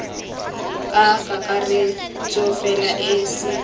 ka kakaretso fela e se